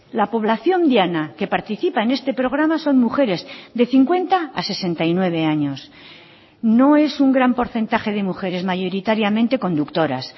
la población diana que participa en este programa son mujeres de cincuenta a sesenta y nueve años no es un gran porcentaje de mujeres mayoritariamente conductoras